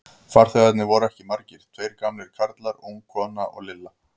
Farþegarnir voru ekki margir, tveir gamlir karlar, ung kona og Lilla.